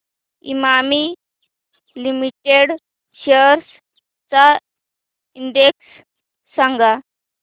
Emami limited shares चा index सांगा